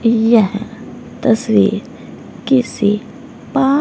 यह तस्वीर किसी पा--